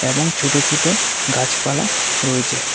এবং ছোট ছোট গাছপালা রয়েছে।